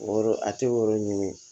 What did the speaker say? O yɔrɔ a tɛ o yɔrɔ ɲini